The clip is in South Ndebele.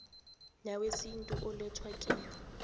newesintu alethwe kiyo